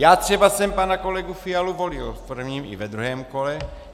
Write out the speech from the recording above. Já třeba jsem pana kolegu Fialu volil v prvním i ve druhém kole.